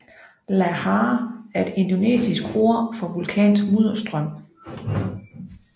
Lahar er et indonesisk ord for vulkansk mudderstrøm